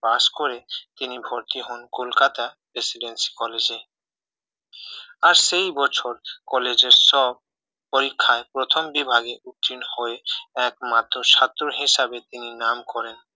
pass করে তিনি ভর্তি হন কলকাতা প্রেসিডেন্সি college এ আর সেই বছর কলেজের সব পরীক্ষায় প্রথম বিভাগে উত্তীর্ণ হয়ে একমাত্র ছাত্র হিসেবে তিনি নাম করেন